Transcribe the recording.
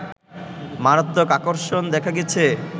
মারাত্মক আকর্ষণ দেখা গেছে